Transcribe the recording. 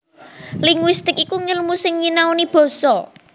Linguistik iku ngèlmu sing nyinaoni basa